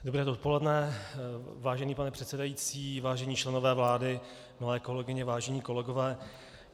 Dobré dopoledne, vážený pane předsedající, vážení členové vlády, milé kolegyně, vážení kolegové.